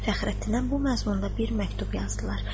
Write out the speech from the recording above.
Fəxrəddinə bu məzmunda bir məktub yazdılar.